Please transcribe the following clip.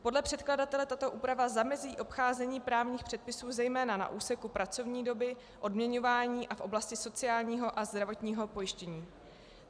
Podle předkladatele tato úprava zamezí obcházení právních předpisů zejména na úseku pracovní doby, odměňování a v oblasti sociálního a zdravotního pojištění.